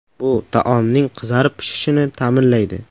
Bu taomning qizarib pishishini ta’minlaydi.